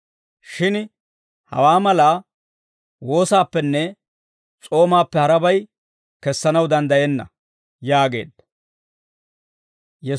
Shin hawaa malaa woosaappenne s'oomaappe harabay kessanaw danddayenna» yaageedda.